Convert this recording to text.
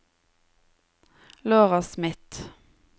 Laura Smith